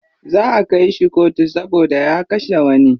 Za'a kai shi kotu saboda ya kashe wani.